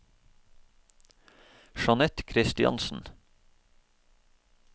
Jeanette Kristiansen